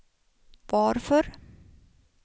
varför